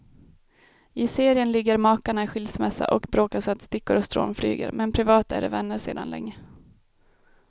I serien ligger makarna i skilsmässa och bråkar så att stickor och strån flyger, men privat är de vänner sedan länge.